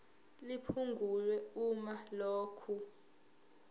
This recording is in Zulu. liphungulwe uma lokhu